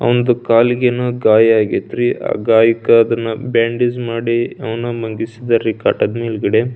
ಅಂದು ಕಾಲಿಗೆನ ಗಯಾ ಆಗಿತ್ರಿ ಆ ಗಾಯಕ್ಕೆ ಅದನ್ನು ಬ್ಯಾಂಡೇಜ್ ಮಾಡಿ ಅವ್ನು ಮಂಗಿಸರಿ ಕಟದ್ಮಗಡೆ.